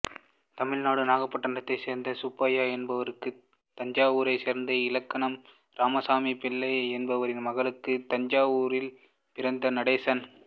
தமிழ்நாடு நாகப்பட்டணத்தைச் சேர்ந்த சுப்பையா என்பவருக்கும் தஞ்சாவூரைச் சேர்ந்த இலக்கணம் இராமசாமிப்பிள்ளை என்பவரின் மகளுக்கும் தஞ்சாவூரில் பிறந்தவர் நடேசன்